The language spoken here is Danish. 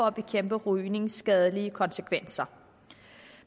at bekæmpe rygningens skadelige konsekvenser